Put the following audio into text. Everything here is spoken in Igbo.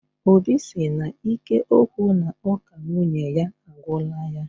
Óbị si na ike okwu na uka nwunye ya agwula yá